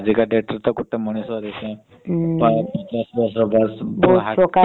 କୁହନା କୁହନା ସେ ଆଜିକା date ରେ ତ ଗୋଟେ ମଣିଷ ପଚାଶ ବର୍ଷ ବୟସ ରେ heart problem ବାହାରୁଛି।